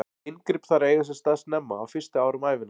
Inngrip þarf að eiga sér stað snemma, á fyrstu árum ævinnar.